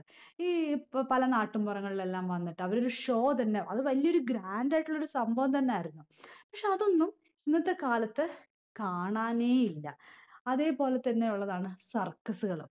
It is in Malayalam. ഈ പ് പല നാട്ടും പുറങ്ങളിലെല്ലാം വന്നിട്ട് അവരെ ഒരു show തന്നെ അത് വലിയ ഒരു grand ആയിട്ടുള്ളൊരു സംഭവം തന്നെയായിരുന്നു പക്ഷെ അതൊന്നും ഇന്നത്തെ കാലത്ത് കാണാനേയില്ല അതെ പോലെ തന്നെ ഉള്ളതാണ് circus കളൊക്കെ